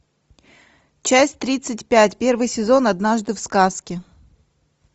часть тридцать пять первый сезон однажды в сказке